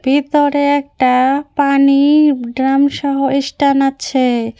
ভিতরে একটা পানির ড্রাম সহ স্টান আছে।